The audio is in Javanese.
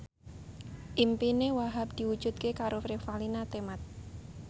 impine Wahhab diwujudke karo Revalina Temat